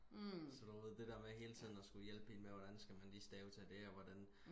så du ved det der med hele tiden og skulle hjælpe hende hvordan skal man lige stave til det og hvordan